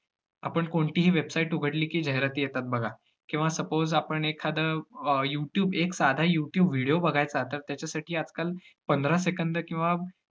आपण कोणतीही website उघडली की जाहिराती येतात बघा, किंवा suppose आपण एखादं अं यूट्यूब एक साधा यूट्यूब video बघायचा तर त्याच्यासाठी आजकाल पंधरा second किंवा